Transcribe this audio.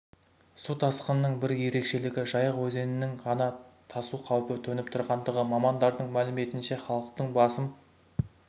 су тасқынының бір ерекшелігі жайық өзенінің ғана тасу қаупі төніп тұрғандығы мамандардың мәліметінше халықтың басым